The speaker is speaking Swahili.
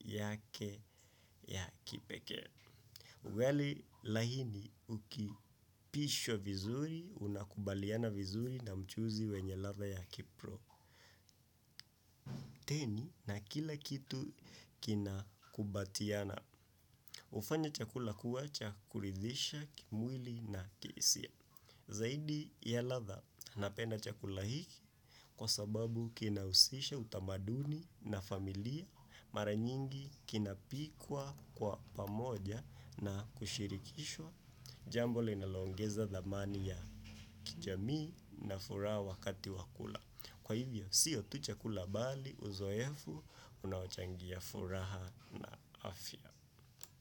yake ya kipekee. Ugali laini uki pishwa vizuri unakubaliana vizuri na mchuzi wenye ladha ya ki pro. Teni na kila kitu kina kubatiana. Hufanya chakula kuwacha kuridhisha kimwili na kihisia. Zaidi ya ladha napenda chakula hiki kwa sababu kina husisha utamaduni na familia mara nyingi kinapikwa kwa pamoja na kushirikishwa jambo linalo ongeza dhamani ya kijamii na furaha wakati wa kula. Kwa hivyo, siyo tu chakula bali, uzoefu, unaochangia furaha afya.